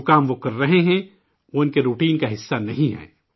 جو کام وہ کر رہے ہیں، وہ انکے معمول کے کام کا حصہ نہیں ہے